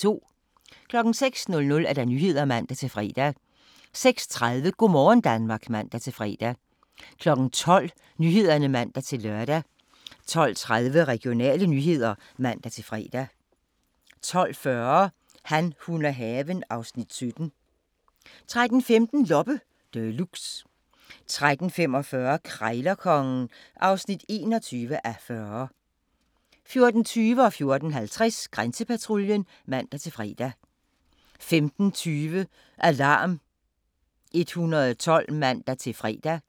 06:00: Nyhederne (man-fre) 06:30: Go' morgen Danmark (man-fre) 12:00: Nyhederne (man-lør) 12:30: Regionale nyheder (man-fre) 12:40: Han, hun og haven (Afs. 17) 13:15: Loppe Deluxe 13:45: Krejlerkongen (21:40) 14:20: Grænsepatruljen (man-fre) 14:50: Grænsepatruljen (man-fre) 15:20: Alarm 112 (man-fre)